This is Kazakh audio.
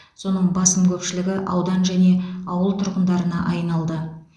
соның басым көпшілігі аудан және ауыл тұрғындарына айналды